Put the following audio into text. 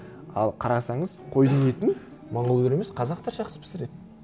ал қарасаңыз қойдың етін монғолдар емес қазақтар жақсы пісіреді